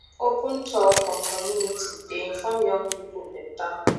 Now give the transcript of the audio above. open talk from community dey inform young people better